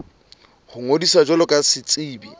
ho ngodisa jwalo ka setsebi